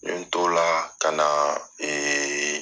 N ye t'o la kana